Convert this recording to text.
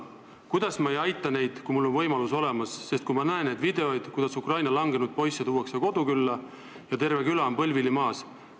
Kuidas ma ei aita neid, kui mul on võimalus olemas ja kui ma näen neid videoid, kus Ukraina langenud poisse tuuakse kodukülla ja terve küla on põlvili maas?